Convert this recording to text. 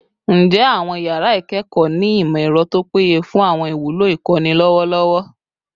Njẹ awọn yara ikẹkọ ni imọ-ẹrọ to peye fun awọn iwulo ikọni lọwọlọwọ?